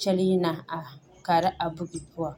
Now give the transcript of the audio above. kyɛlee na a are kaara a buuki poɔ.